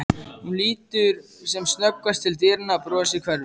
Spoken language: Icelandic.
Hún lítur sem snöggvast til dyranna, brosið hverfur.